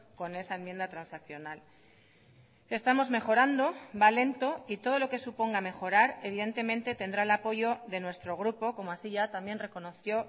con esa enmienda transaccional estamos mejorando va lento y todo lo que suponga mejorar evidentemente tendrá el apoyo de nuestro grupo como así ya también reconoció